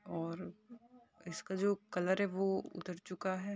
और इसका जो कलर है वो उतर चुका है।